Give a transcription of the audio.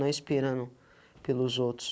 Não esperando pelos outros.